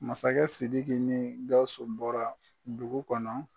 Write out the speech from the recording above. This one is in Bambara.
Masakɛ Sidiki ni Gausu bɔra dugu kɔnɔ.